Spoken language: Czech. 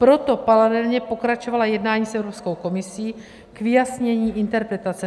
Proto paralelně pokračovala jednání s Evropskou komisí k vyjasnění interpretace.